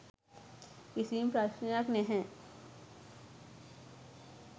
කිසිම ප්‍රශ්නයක් නෑ.